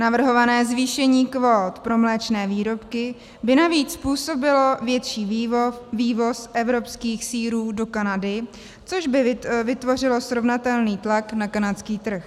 Navrhované zvýšení kvót pro mléčné výrobky by navíc způsobilo větší vývoz evropských sýrů do Kanady, což by vytvořilo srovnatelný tlak na kanadský trh.